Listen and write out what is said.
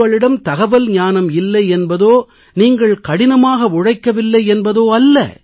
உங்களிடம் தகவல்ஞானம் இல்லை என்பதோ நீங்கள் கடினமாக உழைக்கவில்லை என்பதோ அல்ல